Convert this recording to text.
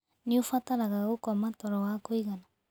Nĩ ũbataraga gũkoma toro wa kũigana